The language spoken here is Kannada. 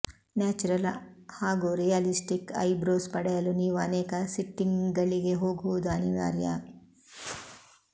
ನ್ಯಾಚುರಲ್ ಹಾಗೂ ರಿಯಾಲಿಸ್ಟಿಕ್ ಐ ಬ್ರೋಸ್ ಪಡೆಯಲು ನೀವು ಅನೇಕ ಸಿಟ್ಟಿಂಗ್ಗಳಿಗೆ ಹೋಗುವುದು ಅನಿವಾರ್ಯ